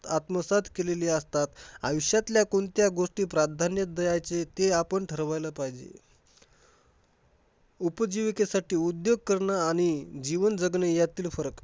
आत्मसात केलेली असतात. आयुष्यातल्या कोणत्या गोष्टी प्राधान्य द्यायचे ते आपण ठरवायला पाहिजे. उपजीविकेसाठी उद्योग करणं आणि जीवन जगणे ह्यातील फरक